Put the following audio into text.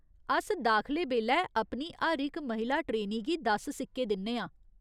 अस दाखले बेल्लै अपनी हर इक महिला ट्रेनी गी दस सिक्के दिन्ने आं।